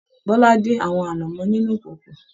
Bọla din àwọn anamọ nínú ìkòkò.